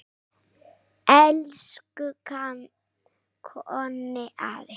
Elsku Konni afi.